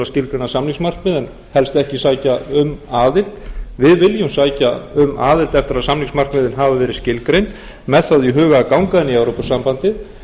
skilgreina samningsmarkmið en helst ekki sækja um aðild við viljum sækja um aðild eftir að samningsmarkmiðin hafa verið skilgreind með það í huga að ganga inn í evrópusambandið